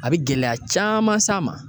A bi gɛlɛya caaman s'a ma